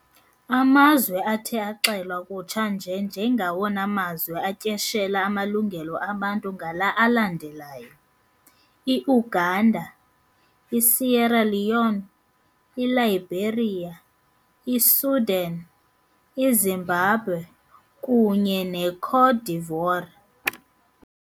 Amazwe athe axelwa kutsha nje njengawona mazwe atyeshela amalungelo abantu ngala alandelayo- i-Uganda, i-Sierra Leone, i-Liberia, i-Sudan, i-Zimbabwe, kunye ne-Côte d'Ivoire.